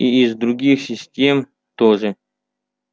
и из других систем тоже